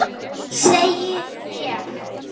Segi ég.